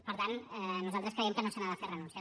per tant nosaltres creiem que no se n’ha de fer renúncia